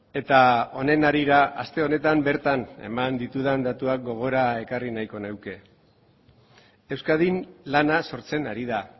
eta honen harira aste honetan bertan eman ditudan datuak gogora ekarri nahiko nuke euskadin lana sortzen ari da